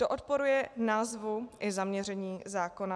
To odporuje názvu i zaměření zákona.